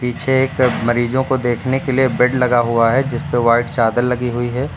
पीछे एक मरीजों को देखने के लिए बेड लगा हुआ है जिस पे व्हाइट चादर लगी हुई है।